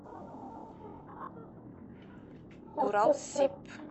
уралсиб